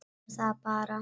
Mér fannst það bara.